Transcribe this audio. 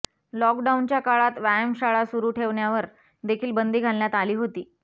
लॉकडाऊनच्या काळात व्यायामशाळा सुरु ठेवण्यावर देखील बंदी घालण्यात आली होती